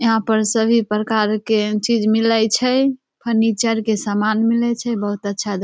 यहाँ पर सभी प्रकार के चीज मिलय छै फर्नीचर के सामान मिलय छै बहुत अच्छा दो --